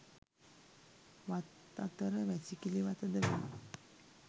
වත් අතර වැසිකිළි වතද වේ.